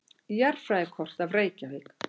Jarðfræðikort af Reykjavík.